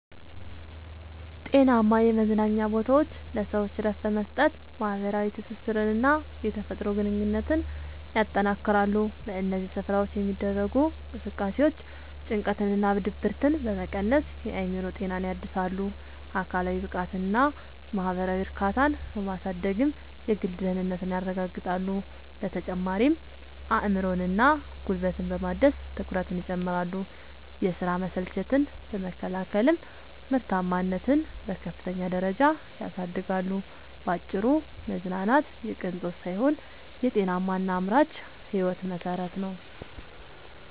ጤናማ የመዝናኛ ቦታዎች ለሰዎች እረፍት በመስጠት፣ ማኅበራዊ ትስስርንና የተፈጥሮ ግንኙነትን ያጠናክራሉ። በእነዚህ ስፍራዎች የሚደረጉ እንቅስቃሴዎች ጭንቀትንና ድብርትን በመቀነስ የአእምሮ ጤናን ያድሳሉ፤ አካላዊ ብቃትንና ማኅበራዊ እርካታን በማሳደግም የግል ደህንነትን ያረጋግጣሉ። በተጨማሪም አእምሮንና ጉልበትን በማደስ ትኩረትን ይጨምራሉ፤ የሥራ መሰልቸትን በመከላከልም ምርታማነትን በከፍተኛ ደረጃ ያሳድጋሉ። ባጭሩ መዝናናት የቅንጦት ሳይሆን የጤናማና አምራች ሕይወት መሠረት ነው።